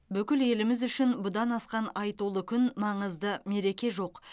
бүкіл еліміз үшін бұдан асқан айтулы күн маңызды мереке жоқ